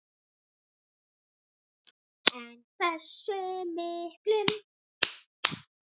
En hversu miklum?